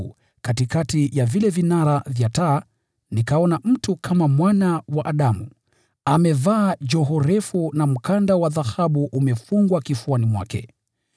na katikati ya vile vinara vya taa, alikuwamo mtu kama Mwana wa Adamu, akiwa amevaa joho refu, na mkanda wa dhahabu ukiwa umefungwa kifuani mwake.